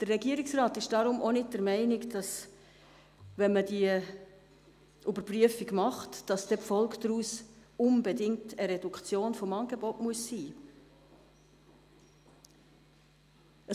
Der Regierungsrat ist deshalb nicht der Meinung, dass die Folge einer Überprüfung unbedingt eine Reduktion des Angebots sein wäre.